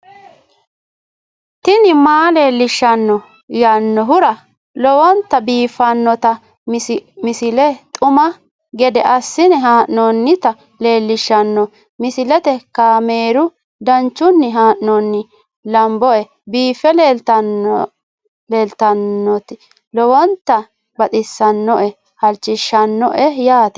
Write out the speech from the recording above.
tini maa leelishshanno yaannohura lowonta biiffanota misile xuma gede assine haa'noonnita leellishshanno misileeti kaameru danchunni haa'noonni lamboe biiffe leeeltannoqolten lowonta baxissannoe halchishshanno yaate